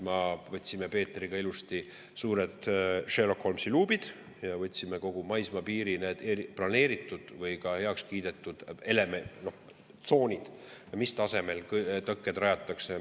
Ma võtsime Peetriga ilusti suured Sherlock Holmesi luubid ja võtsime kogu maismaapiiril planeeritud või ka heaks kiidetud läbi: mis elemendid, mis tasemel tõkked mis tsoonides rajatakse.